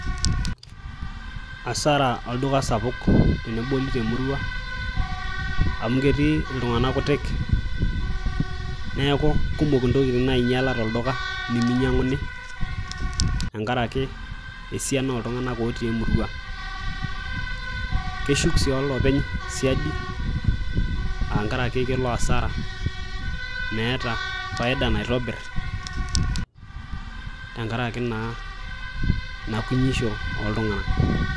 Hasara olduka sapuk teneboli temurua amu ketii iltung'anak kutik neeku kumok intokitin nainyiala tolduka nemeinyiang'uni tenkaraki esiana ooltung'anak ootii emurua keshuk sii olopeny siadi aangaraki kelo hasara meeta faida naitobir tenkaraki naa inakunyisho ooltung'anak.